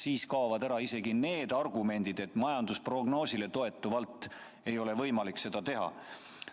Siis kaovad ära isegi need argumendid, et majandusprognoosile toetuvalt ei ole võimalik seda teha.